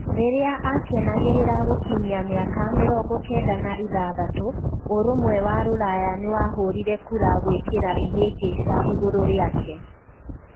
Riria akenagirira gukinyia miaka mĩrongo kenda na ithatũ, ũrumwe wa Ruraya niwahurirwe kura guikira ihingica iguru riake.